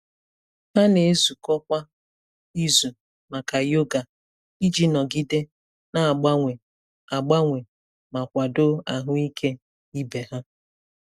Ha na-ezukọ kwa izu maka yoga iji nọgide na-agbanwe agbanwe ma kwado ahụike ibe ha.